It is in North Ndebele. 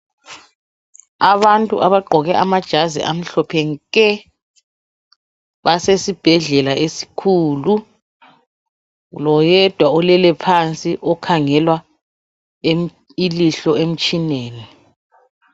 Abantu abagqoke amajazi amhlophe nke basesibhedlela esikhulu loyedwa olele phansi okhangelwa ilihlo emtshineni